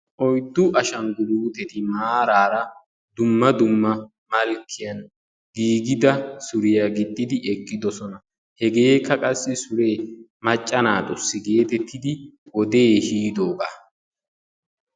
oyddu ashanguluteti maarara dumma dumma merrani giigida suriyaa gixxidi eqidossona hegekka sure macca naatusi wode ehidogaa.